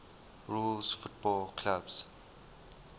rules football clubs